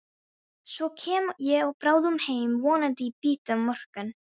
Svo kem ég bráðum heim, vonandi í bítið á morgun.